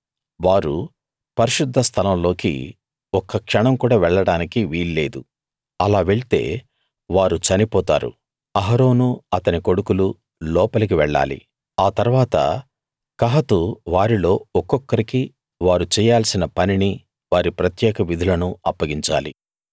వారు పరిశుద్ధ స్థలంలోకి ఒక్క క్షణం కూడా వెళ్ళడానికి వీల్లేదు అలా వెళ్తే వారు చనిపోతారు అహరోనూ అతని కొడుకులూ లోపలికి వెళ్ళాలి ఆ తరువాత కహాతు వారిలో ఒక్కొక్కరికీ వారు చేయాల్సిన పనినీ వారి ప్రత్యేక విధులను అప్పగించాలి